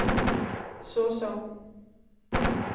såsom